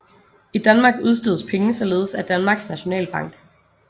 I Danmark udstedes penge således af Danmarks Nationalbank